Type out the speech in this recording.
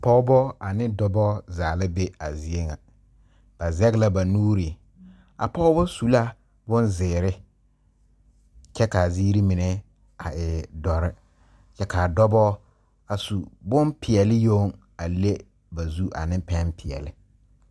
Pɔɔbɔ ane dɔbɔ zaa la be a zie ŋa ba zege la ba nuure a pɔɔ su la bonzeere kyɛ kaa zeere mine a e dɔre kyɛ kaa dɔbɔ a su bonpeɛɛle yoŋ a le ba zu ane pɛn peɛɛli.